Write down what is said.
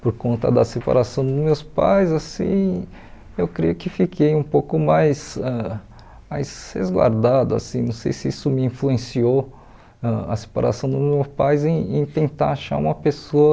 por conta da separação dos meus pais, assim, eu creio que fiquei um pouco mais ãh mais resguardado, assim, não sei se isso me influenciou a separação dos meus pais em em tentar achar uma pessoa